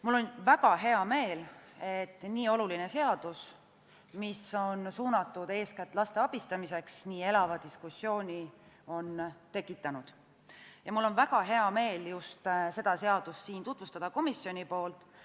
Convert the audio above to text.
Mul on väga hea meel, et nii oluline seadus, mis on suunatud eeskätt laste abistamisele, on tekitanud niivõrd elava diskussiooni ning mul on väga hea meel just seda seadust siin komisjoni nimel tutvustada.